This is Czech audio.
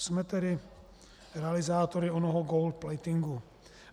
Jsme tedy realizátory onoho gold-platingu.